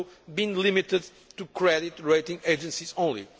been limited to credit rating agencies only.